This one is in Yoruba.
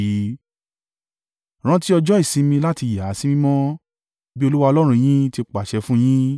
Rántí ọjọ́ ìsinmi láti yà á sí mímọ́, bí Olúwa Ọlọ́run yín ti pàṣẹ fún un yín.